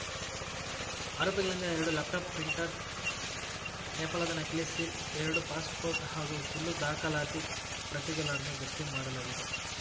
ಆರೋಪಿಗಳಿಂದ ಎರಡು laptop printer ನೇಪಾಳದ ನಕಲಿ ಸೀಲ್‌ ಎರಡು ಪಾಸ್‌ಪೋರ್ಟ್‌ ಹಾಗೂ ಸುಳ್ಳು ದಾಖಲಾತಿ ಪ್ರತಿಗಳನ್ನು ಜಪ್ತಿ ಮಾಡಲಾಗಿದೆ